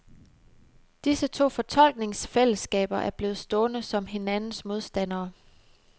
Disse to fortolkningsfællesskaber er blevet stående som hinandens modstandere.